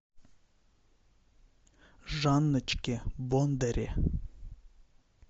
жанночке бондаре